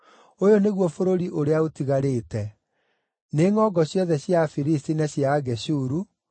“Ũyũ nĩguo bũrũri ũrĩa ũtigarĩte: nĩ ngʼongo ciothe cia Afilisti na cia Ageshuru: